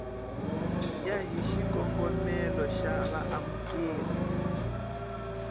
ya hi xikongomelo xa vaamukeri